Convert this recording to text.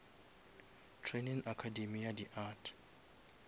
training academy ya di art